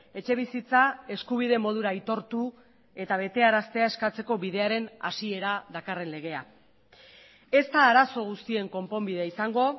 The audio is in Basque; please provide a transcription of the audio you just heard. etxebizitza eskubide modura aitortu eta betearaztea eskatzeko bidearen hasiera dakarren legea ez da arazo guztien konponbidea izango